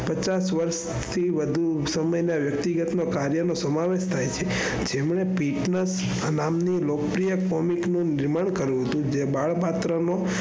પચાસ વરસથી વધુ સમય ના વ્યક્તિગત કાર્ય ના સમાવેશ થાય છે જેમને પીટ ના નામે ની લોકપ્રિય comic નું નિર્માણ કરવું હતું જે બાળપત્ર નો,